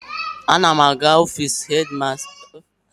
Ana m aga n'ofiisi hedi masta.